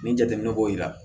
Ni jateminɛ b'o yira